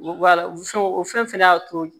o fɛn fɛnɛ y'a to